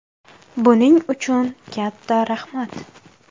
Buning uchun katta rahmat!